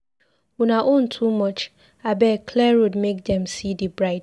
Una own too much. Abeg, clear road make dem see the bride.